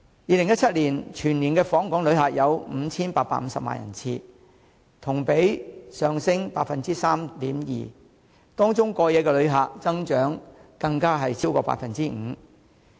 2017年全年訪港旅客有 5,850 萬人次，同比上升 3.2%， 當中過夜旅客增長更超過 5%。